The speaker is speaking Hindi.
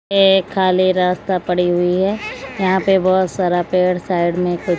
ये खाली रास्ता पड़ी हुई है यहां पे बहोत सारा पेड़ साइड में--